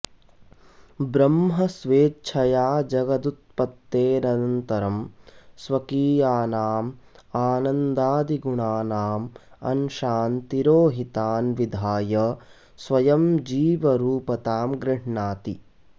ब्रह्म स्वेच्छया जगदुत्पत्तेरन्तरं स्वकीयानाम् आनन्दादिगुणानां अंशान् तिरोहितान् विधाय स्वयं जीवरुपतां गृह्णाति